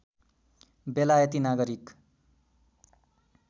बेलायती नागरिक